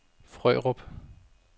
Frørup